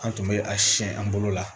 An tun bɛ a siyɛn an bolo la